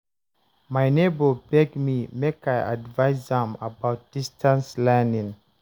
my nebor beg me make i advice am about distance learning